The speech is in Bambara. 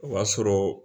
O b'a sɔrɔ